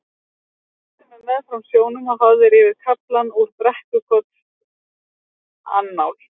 Þú leiddir mig meðfram sjónum og hafðir yfir kaflann úr Brekkukotsannál.